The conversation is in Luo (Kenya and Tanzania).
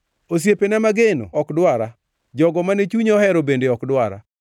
Osiepena mageno ok dwara; jogo mane chunya ohero bende ok dwara.